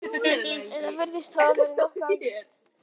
Þetta virðist hafa verið nokkuð algengt.